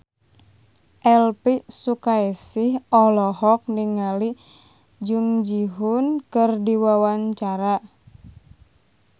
Elvy Sukaesih olohok ningali Jung Ji Hoon keur diwawancara